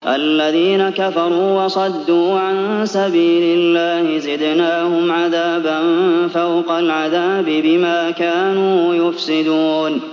الَّذِينَ كَفَرُوا وَصَدُّوا عَن سَبِيلِ اللَّهِ زِدْنَاهُمْ عَذَابًا فَوْقَ الْعَذَابِ بِمَا كَانُوا يُفْسِدُونَ